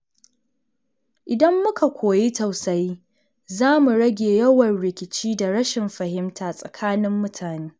Idan muka koyi tausayi, za mu rage yawan rikici da rashin fahimta tsakanin mutane.